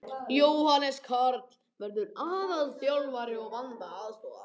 Jóhannes Karl verður aðalþjálfari og Vanda aðstoðar.